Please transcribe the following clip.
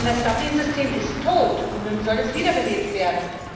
Denn das Dublin System ist tot, und nun soll es wiederbelebt werden.